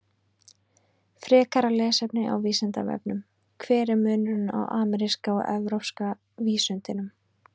Frekara lesefni á Vísindavefnum: Hver er munurinn á ameríska og evrópska vísundinum?